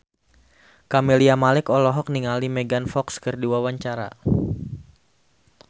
Camelia Malik olohok ningali Megan Fox keur diwawancara